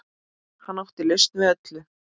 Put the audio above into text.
Hann átti lausn við öllu.